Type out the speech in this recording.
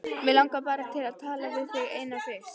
Mig langar bara til að tala við þig eina fyrst.